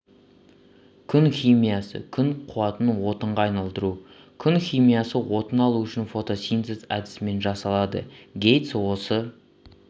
күн химиясы күн қуатын отынға айналдыру күн химиясы отын алу үшін фотосинтез әдісімен жасалады гейтс осы